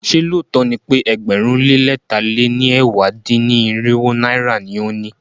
Ṣé lóòtó ni pe ẹgbẹ̀rún lé lẹ̀ta lé ní ẹ̀wá dín-ní-irinwó náírà ni o ní?